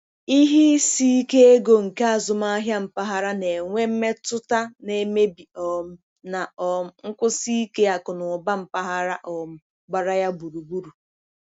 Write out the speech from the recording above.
ihe isike ego nke azụmahịa mpaghara na-enwe mmetụta na-emebi um na um nkwụsi ike akụnụba mpaghara um gbara ya gburugburu.